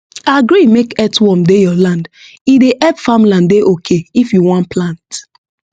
agree make earthworm dey your land e dey help farmland dey okay if you wan plant